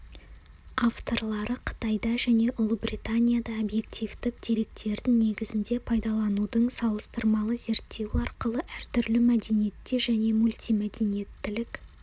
авторлары қытайда және ұлыбританияда объективтік деректердің негізінде пайдаланудың салыстырмалы зерттеуі арқылы әртүрлі мәдениетте және мультимәдениеттілік